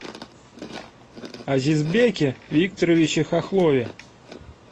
азизбеке викторовиче хохлове